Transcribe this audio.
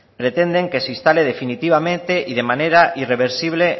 pretenden que se instale definitivamente y de manera irreversible